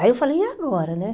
Aí eu falei, e agora, né?